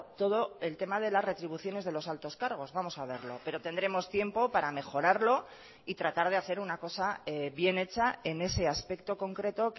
todo el tema de las retribuciones de los altos cargos vamos a verlo pero tendremos tiempo para mejorarlo y tratar de hacer una cosa bien hecha en ese aspecto concreto